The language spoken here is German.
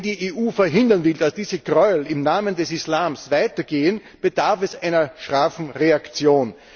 Wenn die EU verhindern will, dass diese Gräuel im Namen des Islams weitergehen, bedarf es einer scharfen Reaktion.